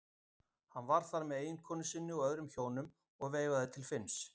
Hann var þar með eiginkonu sinni og öðrum hjónum og veifaði til Finns.